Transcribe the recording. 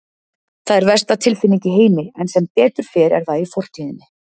Það er versta tilfinning í heimi en sem betur fer er það í fortíðinni.